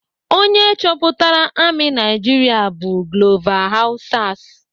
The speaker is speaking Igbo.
Onye chọpụtara amị Naijiria bụ Glover Hausas.